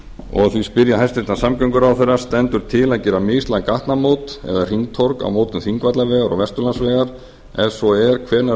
og því spyr ég hæstvirtan samgönguráðherra stendur til að gera mislæg gatnamót eða hringtorg á mótum þingvallavegar og vesturlandsvegar ef svo er hvenær er